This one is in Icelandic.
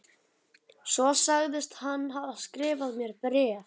Svo sagðist hann hafa skrifað mér bréf.